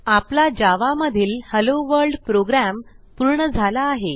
आपला hello world program पूर्ण झाला आहे